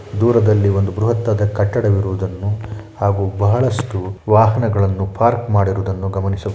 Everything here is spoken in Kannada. ದೂರದಲ್ಲಿ ಒಂದು ಬೃಹತ್‌ದಾದ ಕಟ್ಟಡ ಇರುವುದನ್ನು ಹಾಗೂ ಬಹಳಷ್ಟು ವಾಹನಗಳನ್ನು ಪಾರ್ಕ್‌ ಮಾಡಿರುವುದನ್ನು ಗಮನಿಸಬಹು--